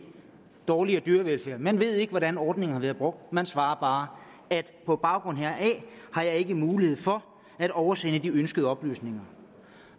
dårligere dyrevelfærd man ved ikke hvordan ordningen har været brugt man svarer bare på baggrund heraf har jeg ikke mulighed for at oversende de ønskede oplysninger